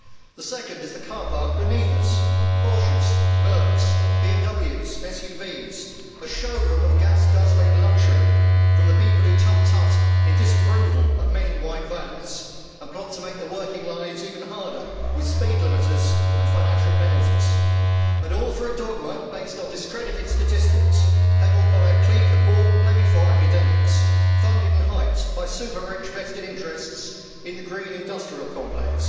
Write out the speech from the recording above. The second is the car park beneath us Porches, Mercedes, BMWs, SUVs, a showroom of gas guzzling luxury from the people who tut tut in disapproval at many white vans and plot to make working lives even harder with speed limiters and financial penalties, all for a dogma based on discredited statistics pedalled by a clique of bought and paid for academics, funded and hyped by super rich vested interests in the green industrial complex